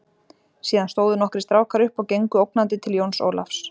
Síðan stóðu nokkrir strákar upp og gengu ógnandi til Jóns Ólafs.